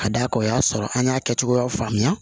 Ka d'a kan o y'a sɔrɔ an y'a kɛ cogoya faamuya